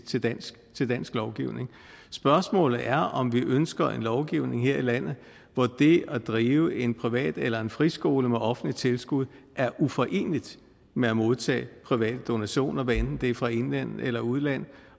til dansk til dansk lovgivning spørgsmålet er om vi ønsker en lovgivning her i landet hvor det at drive en privat eller en friskole med offentligt tilskud er uforeneligt med at modtage private donationer hvad enten det er fra indland eller udland